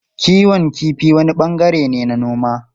Kiwon kifi wani bangare ne na noma.